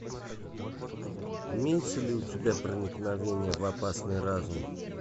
имеется ли у тебя проникновение в опасный разум